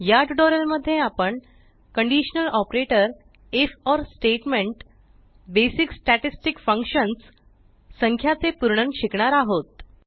या ट्यूटोरियल मध्ये आपण conditional operator if or statement basic statistic functions संख्याचे पूर्णन शिकणार आहोत